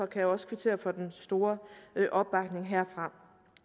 kan også kvittere for den store opbakning herfra